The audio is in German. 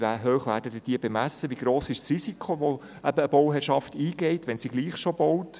Wie hoch werden sie dann bemessen, wie gross ist das Risiko, das eine Bauherrschaft eingeht, wenn sie trotzdem schon baut?